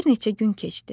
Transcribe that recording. Bir neçə gün keçdi.